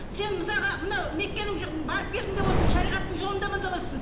сен мысалға мынау меккенің барып келдім деп отырсың шариғаттың жолындамын деп отырсың